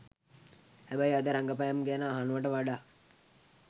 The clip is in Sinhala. හැබැයි අද රඟපෑම් ගැන අහනවාට වඩා